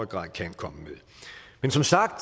grad kan komme med men som sagt